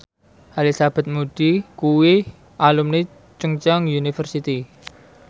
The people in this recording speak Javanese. Elizabeth Moody kuwi alumni Chungceong University